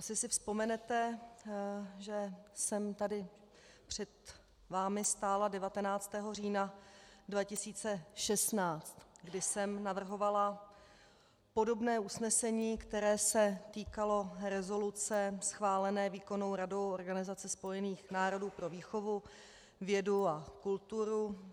Asi si vzpomenete, že jsem tady před vámi stála 19. října 2016, kdy jsem navrhovala podobné usnesení, které se týkalo rezoluce schválené výkonnou radou Organizace spojených národů pro výchovu, vědu a kulturu.